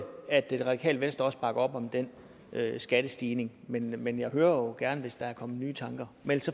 at det radikale venstre også bakker op om den skattestigning men men jeg hører jo gerne hvis der er kommet nye tanker mens